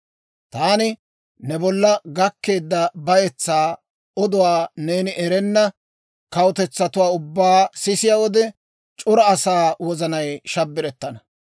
«‹ «Taani ne bolla gakkeedda bayetsaa oduwaa neeni erenna kawutetsatuwaa ubbaa sisiyaa wode, c'ora asaa wozanay shabbirettana.